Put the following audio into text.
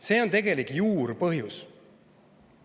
See on tegelik juurpõhjus.